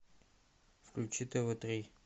включи тв три